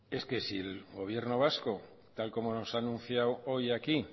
es que si el gobierno vasco tal como nos ha anunciado hoy aquí